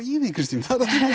í því Kristín